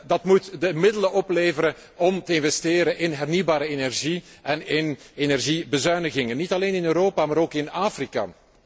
En dat moet de middelen opleveren om te investeren in hernieuwbare energie en in energiebezuinigingen, niet alleen in Europa, maar ook in Afrika.